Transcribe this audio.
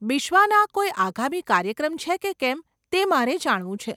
બિશ્વાના કોઈ આગામી કાર્યક્રમ છે કે કેમ તે મારે જાણવું છે.